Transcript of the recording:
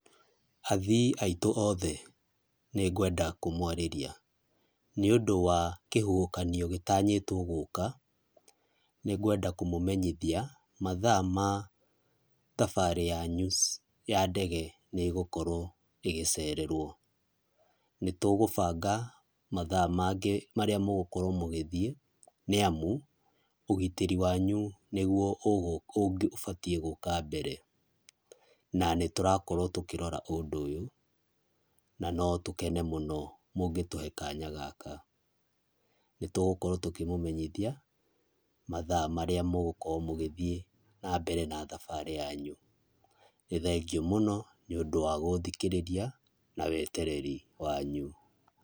Athii aitũ othe nĩngwenda kũmwarĩria nĩũndũ wa kĩhuhũkanio gĩtanyĩtwo gũka, nĩngwenda kũmũmenyithia mathaa ma thabarĩ yanyu ya ndege nĩ gũkorwo igĩcererwo. Nĩtũgũbanga mathaa mangĩ marĩa mũgũkorwo mũgĩthiĩ, nĩamũ ũgitĩri wanyu nĩgũo ũbatiĩ gũka mbere, na nĩtũrakorwo tũkĩrora ũndũ ũyũ, na no tũkene mũno mũngĩtũhe kanya gaka. Nĩtũgũkorwo tũkĩmũmenyithia mathaa marĩa mũgokorwo mũgĩthiĩ na mbere na thabarĩ yanyu. Nĩ thengiũ mũno nĩũndũ wa gũthikĩrĩria na wetereri wanyu.